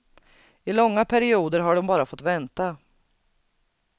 I långa perioder har de bara fått vänta.